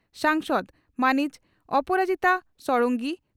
ᱥᱟᱝᱥᱚᱫᱽ ᱢᱟᱹᱱᱤᱡ ᱚᱯᱚᱨᱟᱡᱤᱛᱟ ᱥᱚᱰᱚᱝᱜᱤ